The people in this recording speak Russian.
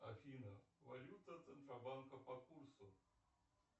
афина валюта центробанка по курсу